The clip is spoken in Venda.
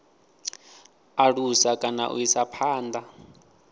alusa kana u isa phanda